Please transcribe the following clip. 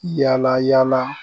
Yala yala